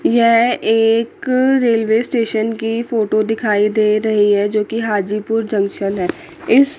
यह एक railway station की फोटो दिखाई दे रही है जो की हाजीपुर जंक्शन है इस--